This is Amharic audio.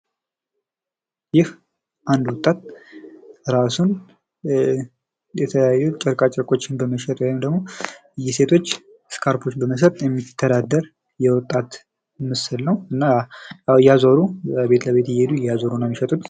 ይህ አንድ ወጣት እራሱን የተለያዩ ጨርቆችን በመሸጥ ወይም ደግሞ የሴቶች እስካርብ በመሸጥ የሚተዳደር ወጣት ምስል ነው። ያው እያዞሩ ቤት ለቤት እያዞሩ ነው።